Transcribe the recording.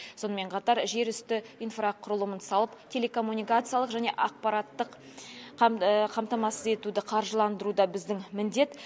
сонымен қатар жер үсті инфрақұрылымын салып телекоммуникациялық және ақпараттық қамтамасыз етуді қаржыландыру да біздің міндет